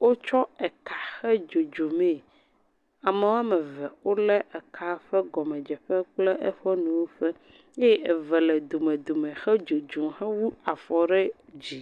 wotsɔ eka he dzodzomee, ame woame eve wolé eka ƒe gɔmedzeƒe kple eƒe nuwuƒe eye eve le domedome hedzodzom hewu afɔ ɖe dzi.